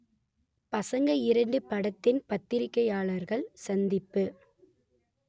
பசங்க இரண்டு படத்தின் பத்திரிகையாளர்கள் சந்திப்பு